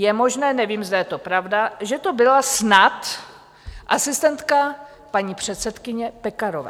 Je možné, nevím, zda je to pravda, že to byla snad asistentka paní předsedkyně Pekarové.